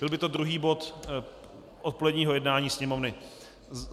Byl by to druhý bod odpoledního jednání Sněmovny.